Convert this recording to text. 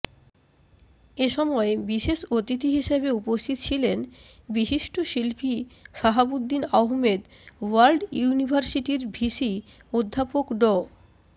এসময় বিশেষ অতিথি হিসেবে উপস্থিত ছিলেন বিশিষ্ট শিল্পী শাহাবুদ্দিন আহমেদ ওয়ার্ল্ড ইউনির্ভাসিটির ভিসি অধ্যাপক ড